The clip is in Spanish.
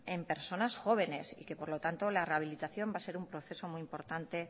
en personas jóvenes y que por lo tanto la rehabilitación va a ser un proceso muy importante